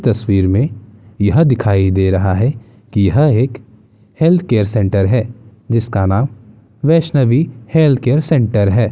तस्वीर में यह दिखाई दे रहा है की यह एक हेल्थ केयर सेंटर है जिसका नाम वैषणवी हेल्थ केयर सेंटर है।